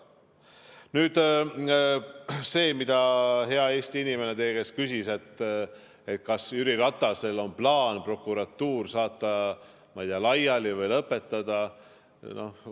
Nüüd see, mida hea Eesti inimene teie käest küsis, et kas Jüri Ratasel on plaan prokuratuur saata, ma ei tea, laiali või lõpetada see.